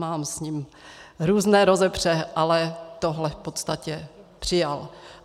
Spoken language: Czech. Mám s ním různé rozepře, ale tohle v podstatě přijal.